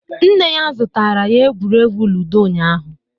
nne ya zụtara ya egwuregwu ludo ụnyahụ